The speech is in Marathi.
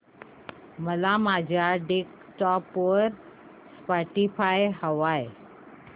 मला माझ्या डेस्कटॉप वर स्पॉटीफाय हवंय